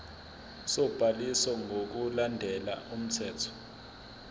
sobhaliso ngokulandela umthetho